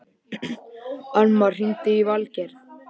Annmar, hringdu í Valgarð.